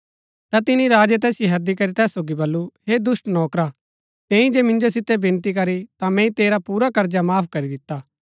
ता तिनी राजै तैसिओ हैदी करी तैस सोगी बल्लू हे दुष्‍ट नौकरा तैंई जे मिन्जो सितै विनती करी ता मैंई तेरा पुरा कर्जा माफ करी दिता